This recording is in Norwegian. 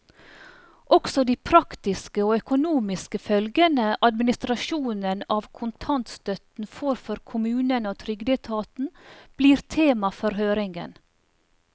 Også de praktiske og økonomiske følgene administrasjonen av kontantstøtten får for kommunene og trygdeetaten, blir tema for høringen.